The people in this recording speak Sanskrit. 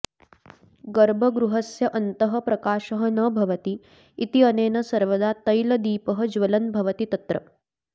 गर्भगृहस्य अन्तः प्रकाशः न भवति इत्यनेन सर्वदा तैलदीपः ज्वलन् भवति तत्र